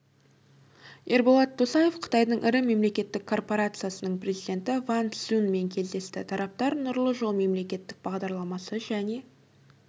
ерболат досаев қытайдың ірі мемлекеттік корпорациясының президенті ван цзюнмен кездесті тараптар нұрлы жол мемлекеттік бағдарламасы және